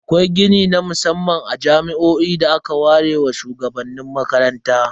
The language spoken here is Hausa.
Akwai gini na musamman a jami'o'i da aka ware wa shuwagabannin makarantar.